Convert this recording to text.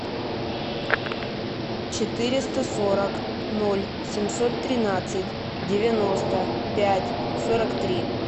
четыреста сорок ноль семьсот тринадцать девяносто пять сорок три